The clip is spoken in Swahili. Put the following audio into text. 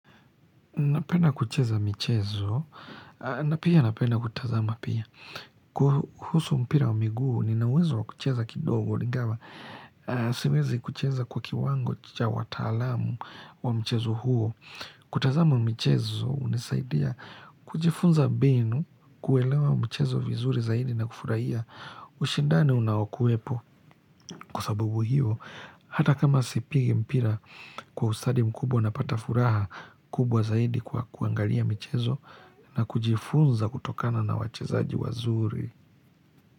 Napenda kucheza michezo, na pia napenda kutazama pia. Kuhusu mpira wa miguu, nina uwezo wa kucheza kidogo, ingawa. Siwezi kucheza kwa kiwango cha wataalamu wa mchezo huo. Kutazama michezo, hunisaidia kujifunza mbinu, kuelewa mchezo vizuri zaidi na kufurahia. Ushindani unaokuwepo kwa sababu hiyo. Hata kama sipigi mpira kwa ustadi mkubwa napata furaha kubwa zaidi kwa kuangalia michezo na kujifunza kutokana na wachezaji wazuri.